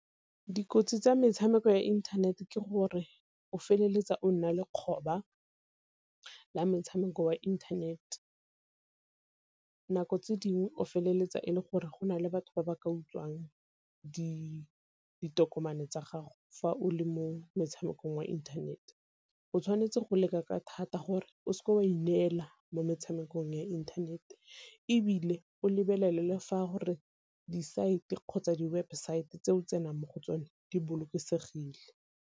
Dikotsi tsa metshameko ya internet-e ke gore o feleletsa o nna le kgoba la metshameko wa internet. Nako tse dingwe o feleletsa e le gore gona le batho ba ba ka utswang ditokomane tsa gago fa o le mo metshamekong wa inthanete. O tshwanetse go leka ka thata gore o seke wa ineela mo metshamekong ya inthanete, ebile o lebelele fa a gore di-site kgotsa di-website tse o tsenang mo go tsone di bolokesegile.